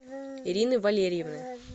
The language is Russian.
ирины валерьевны